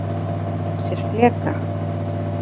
Reyndu að gera sér fleka